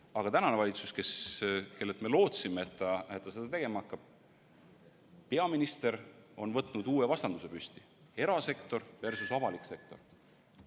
Aga tänane valitsus, kellelt me lootsime, et ta seda tegema hakkab, peaministriga on võtnud uue vastanduse: erasektor versus avalik sektor.